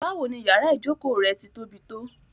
Báwò ní yàrà ìjọkọ rẹ̀ tí tó bí tó?